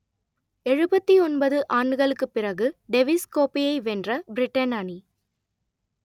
எழுபத்தி ஒன்பது ஆண்டுகளுக்கு பிறகு டெவிஸ் கோப்பையை வென்ற பிரிட்டன் அணி